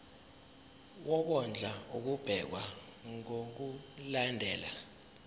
wokondla ubekwa ngokulandlela